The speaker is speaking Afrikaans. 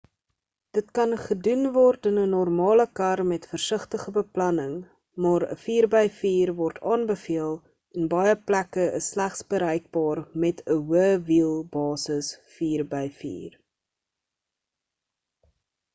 dit kan gedoen word in ‘n normale kar met versigtige beplanning maar ‘n 4x4 word aanbeveel en baie plekke is slegs bereikbaar met ‘n hoë wiel basis 4x4